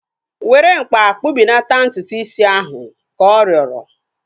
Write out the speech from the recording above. Were mkpa kpụbelata ntutu is ahu! Ka ọ rịọrọ